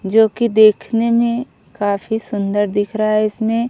जो कि देखने में काफ़ी सुन्दर दिख रहा है इसमे--